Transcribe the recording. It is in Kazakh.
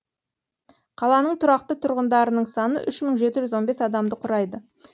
қаланың тұрақты тұрғындарының саны ұш мың жеті жүз он бес адамды құрайды